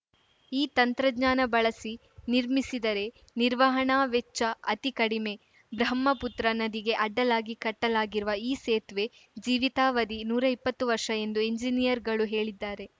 ಈ ತಂತ್ರಜ್ಞಾನ ಬಳಸಿ ನಿರ್ಮಿಸಿದರೆ ನಿರ್ವಹಣಾ ವೆಚ್ಚ ಅತಿ ಕಡಿಮೆ ಬ್ರಹ್ಮಪುತ್ರ ನದಿಗೆ ಅಡ್ಡಲಾಗಿ ಕಟ್ಟಲಾಗಿರುವ ಈ ಸೇತುವೆ ಜೀವಿತಾವಧಿ ನೂರಾ ಇಪ್ಪತ್ತು ವರ್ಷ ಎಂದು ಎಂಜಿನಿಯರ್‌ಗಳು ಹೇಳಿದ್ದಾರೆ